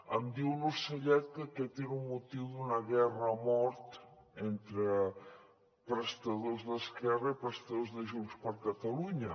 em diu un ocellet que aquest era un motiu d’una guerra a mort entre prestadors d’esquerra i prestadors de junts per catalunya